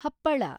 ಹಪ್ಪಳ